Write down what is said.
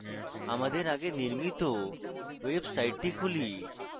আমাদের আগে নির্মিত ওয়েবসাইটটি খুলুন